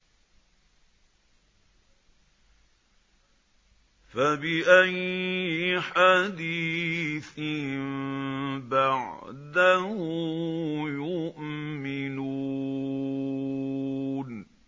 فَبِأَيِّ حَدِيثٍ بَعْدَهُ يُؤْمِنُونَ